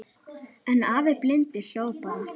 En afi blindi hló bara.